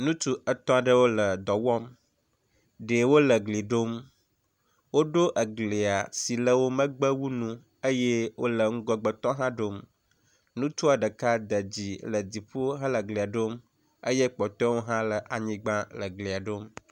Ŋutsu yetɔ̃ aɖewo le dɔ wɔm. Ɖewo le egbli ɖom. Woɖo eglia siwo le wo mgbe wu nu eye wo le ŋgɔgbetɔ hã ɖom. Ŋutsua ɖeka de dzi le dziƒo hele glia ɖom eye kpɔtɔewo hã le anyigba ele glia ɖom.